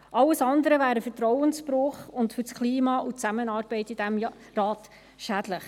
Alles andere wäre ein Vertrauensbruch und für das Klima und die Zusammenarbeit in diesem Rat schädlich.